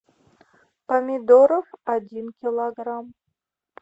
помидоров один килограмм